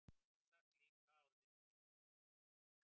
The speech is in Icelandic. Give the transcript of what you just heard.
Sjálfsagt líka orðin þreytt.